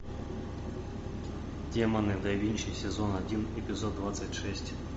демоны да винчи сезон один эпизод двадцать шесть